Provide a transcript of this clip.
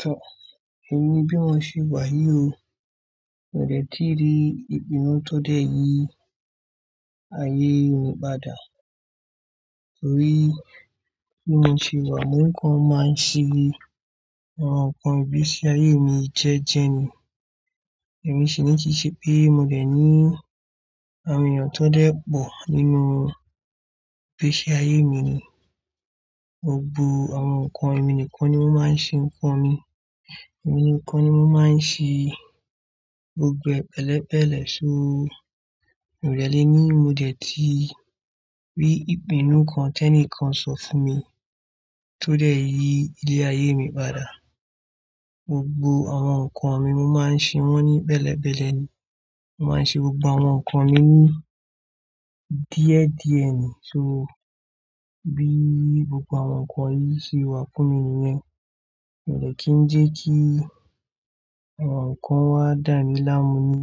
Tọ́, èmi bí mo ṣe wà yí o, mi ò dẹ kí rí ìpinnu tó dé yìí ayé mi padà. Nítorí bí mi ṣe wà mo kan máa ń ṣe ni, àwọn nǹkan ìgbésí ayé mi jẹ́jẹ́ ni. Èmi sì ní kiṣẹ́ pé mo dẹ̀ ní àmìràn tó dẹ́ pọ̀ nínú ìgbésí ayé mi ni. Gbo gbọ àwọn nǹkan, èmi nìkan ni mo máa ń ṣe nǹkan mi. Èmi nìkan ni mo máa ń ṣe gbogbo ẹ̀belẹ́bẹ̀lẹ̀. So, mi ò dẹ́ lé ní mo dẹ tí rí ìpinnu kan tẹ́ní kan sọ fún mi tó dẹ́ yi ilé ayé mi padà. Gbogbo àwọn nǹkan mi mo máa ń ṣe wọ́n ní bẹ́lẹ́bẹ́lẹ́ ni. Mo máa ń ṣe gbogbo àwọn nǹkan mi ní díẹ̀díẹ̀ ni. So, bí gbogbo àwọn nǹkan yìí ṣe wà kún mi nìyẹn, mi ò dẹ kí ń jẹ́ kí àwọn nǹkan wá dà mí lámu ní,